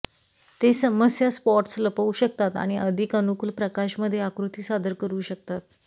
ते समस्या स्पॉट्स लपवू शकतात आणि अधिक अनुकूल प्रकाश मध्ये आकृती सादर करू शकतात